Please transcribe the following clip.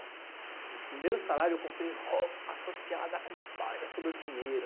Meu primeiro salário, eu comprei roupa associada com, sobrou dinheiro.